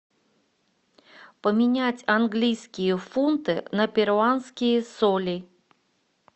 поменять английские фунты на перуанские соли